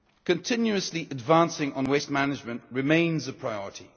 Continuously advancing on waste management remains a priority.